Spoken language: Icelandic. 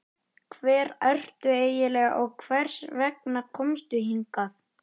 Hver ertu eiginlega og hvers vegna komstu hingað?